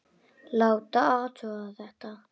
Láta athuga þetta.